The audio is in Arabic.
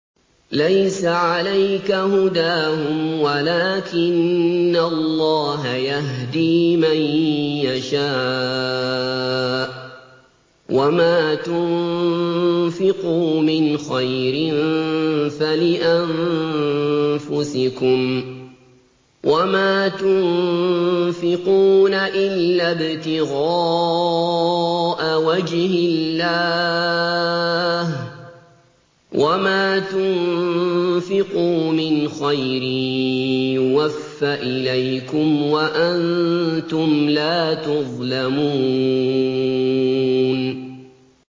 ۞ لَّيْسَ عَلَيْكَ هُدَاهُمْ وَلَٰكِنَّ اللَّهَ يَهْدِي مَن يَشَاءُ ۗ وَمَا تُنفِقُوا مِنْ خَيْرٍ فَلِأَنفُسِكُمْ ۚ وَمَا تُنفِقُونَ إِلَّا ابْتِغَاءَ وَجْهِ اللَّهِ ۚ وَمَا تُنفِقُوا مِنْ خَيْرٍ يُوَفَّ إِلَيْكُمْ وَأَنتُمْ لَا تُظْلَمُونَ